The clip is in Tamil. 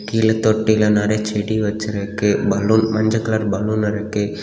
இதுல தொட்டில நிறைய செடி வெச்சிருக்கு பலூன் மஞ்ச கலர் பலூன் இருக்கு.